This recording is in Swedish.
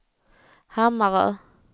Hammarö